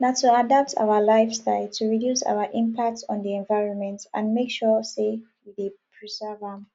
na to adapt our lifestye to reduce our impact on di environment and make sure say we dey preserve am